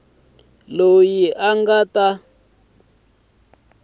loyi a nga ta va